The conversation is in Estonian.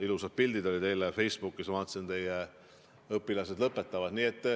Ilusad pildid olid eile Facebookis, ma vaatasin, et teie õpilased lõpetavad.